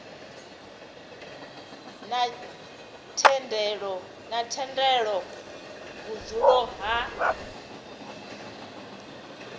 na thendelo ya vhudzulo ha